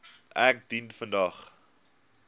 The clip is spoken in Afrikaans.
ek dien vandag